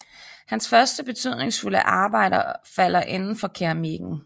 Hans første betydningsfulde arbejder falder inden for keramikken